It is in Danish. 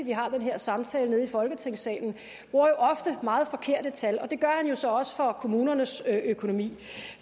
vi har den her samtale nede i folketingssalen bruger jo ofte meget forkerte tal og det gør han jo så også for kommunernes økonomi